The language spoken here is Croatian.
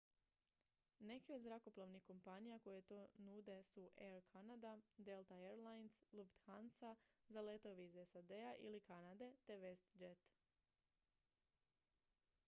neke od zrakoplovnih kompanija koje to nude su air canada delta air lines lufthansa za letove iz sad-a ili kanade te westjet